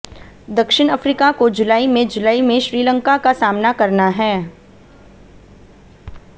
दक्षिण अफ्रीका को जुलाई में जुलाई में श्रीलंका का सामना करना है